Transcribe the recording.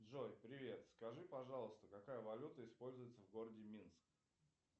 джой привет скажи пожалуйста какая валюта используется в городе минск